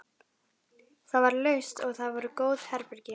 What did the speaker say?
Það var laust og þar voru góð herbergi.